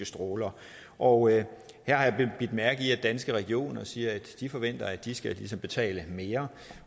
stråler og jeg har bidt mærke i at danske regioner siger at de forventer at de skal betale mere